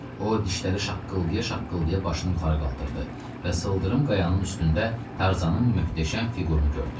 O dişləri şaqqıldaya-şaqqıldaya başını yuxarı qaldırdı və sıldırım qayanın üstündə Tarzanın möhtəşəm fiqurunu gördü.